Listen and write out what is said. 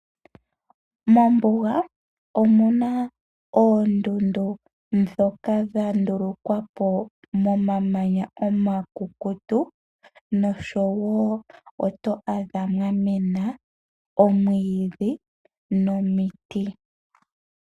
Mombuga omuna oondundu dhoka dhandulukwa po momamanya omakukutu noshowo oto adha mwa mena omwiidhi nomiti.